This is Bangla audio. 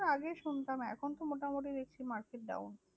আগে শুনতাম, এখন তো মোটামুটি দেখছি market down.